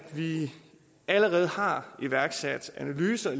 vi allerede har iværksat analyser